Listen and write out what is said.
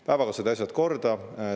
Päevaga said asjad korda.